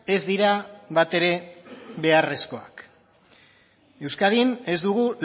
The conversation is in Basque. ez dira bat ere beharrezkoak euskadin ez dugu